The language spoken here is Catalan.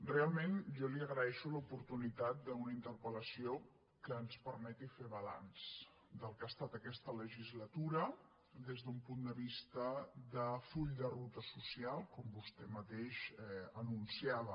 realment jo li agreixo l’oportunitat d’una interpellació que ens permeti fer balanç del que ha estat aquesta legislatura des d’un punt de vista de full de ruta social com vostè mateix anunciava